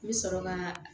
N bɛ sɔrɔ ka